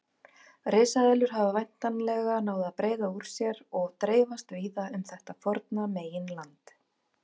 Risaeðlur hafa væntanlega náð að breiða úr sér og dreifast víða um þetta forna meginland.